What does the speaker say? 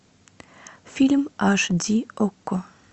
фильм аш ди окко